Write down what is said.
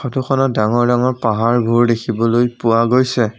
ফটোখনত ডাঙৰ ডাঙৰ পাহাৰবোৰ দেখিবলৈ পোৱা গৈছে।